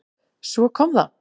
Svo kom það.